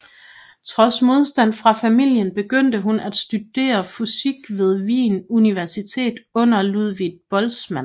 Trods modstand fra familien begyndte hun at studere fysik ved Wien Universitet under Ludwig Boltzmann